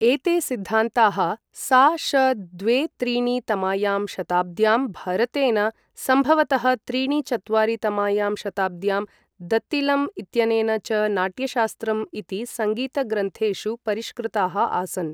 एते सिद्धान्ताः, सा.श. द्वे त्रीणि तमायां शताब्द्यां भरतेन, सम्भवतः त्रीणि चत्वारि तमायां शताब्द्यां दत्तिलम् इत्यनेन च नाट्यशास्त्रम् इति सङ्गीतग्रन्थेषु परिष्कृताः आसन्।